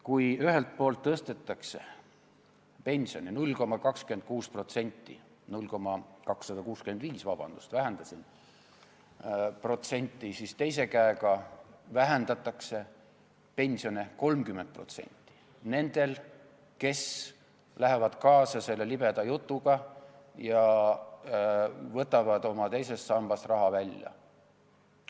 Kui ühelt poolt tõstetakse pensioni 0,26% – 0,265%, vabandust, vähendasin protsenti –, siis teise käega vähendatakse pensioni 30% nendel, kes lähevad kaasa selle libeda jutuga ja võtavad teisest sambast raha välja.